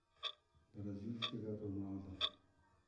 Brazilskega Ronalda.